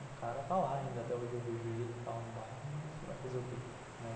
O cara tá lá ainda, até hoje eu vejo ele no bairro, mas vai fazer o quê?